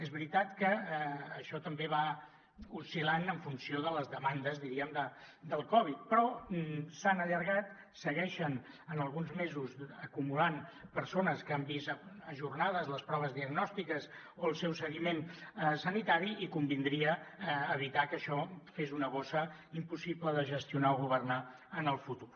és veritat que això també va oscil·lant en funció de les demandes diríem del covid però s’han allargat segueixen en alguns mesos acumulant persones que han vist ajornades les proves diagnòstiques o el seu seguiment sanitari i convindria evitar que això fes una bossa impossible de gestionar o governar en el futur